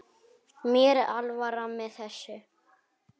Mér er alvara með þessu.